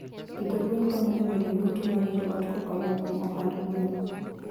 Pidho gwen konyo e medo yuto mar joot kokalo kuom ohand gweno.